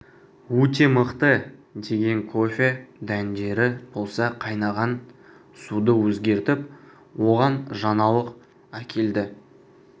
өте мықты деген кофе дәндері болса қайнаған суды өзгертіп оған жаңалық әкелді